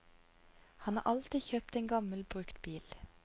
Han har alltid kjøpt en gammel, brukt bil.